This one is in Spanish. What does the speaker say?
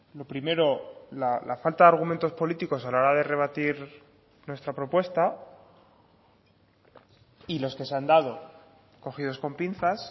lo primero la falta de argumentos políticos a la hora de rebatir nuestra propuesta y los que se han dado cogidos con pinzas